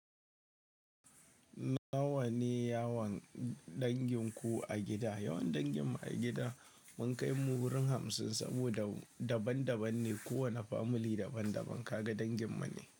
Nawa ne yawan dangin ku a gida? Yawan dangin mu a gida mun kai mu wurin hamsin saboda daban daban ne. Kowane family daban daban. Ka ga dangin mane.